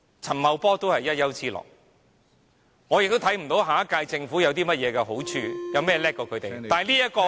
陳茂波都是一丘之貉，我亦看不到下屆政府有甚麼優點比他們優勝......